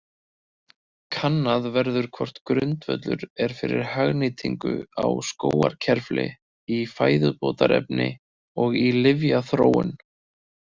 Kannað verður hvort grundvöllur er fyrir hagnýtingu á skógarkerfli í fæðubótarefni og í lyfjaþróun.